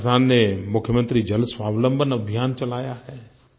राजस्थान ने मुख्यमंत्री जलस्वावलंबन अभियान चलाया है